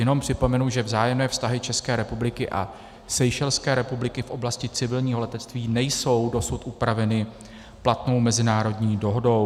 Jenom připomenu, že vzájemné vztahy České republiky a Seychelské republiky v oblasti civilního letectví nejsou dosud upraveny platnou mezinárodní dohodou.